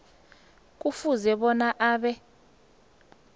kufuze bona abe